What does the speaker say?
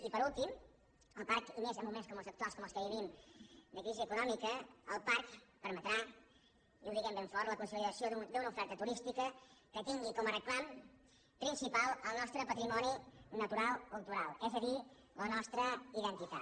i per últim el parc i més en moments com els actuals com els que vivim de crisi econòmica permetrà i ho diguem ben fort la consolidació d’una oferta turística que tingui com a reclam principal el nostre patrimoni natural cultural és a dir la nostra identitat